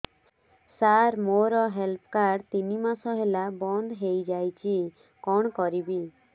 ସାର ମୋର health card ତିନି ମାସ ହେଲା ବନ୍ଦ ହେଇଯାଇଛି କଣ କରିବି